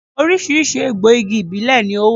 Oríṣiríṣi egbò igi ìbílè ni ó wà